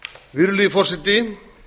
virðulegi forseti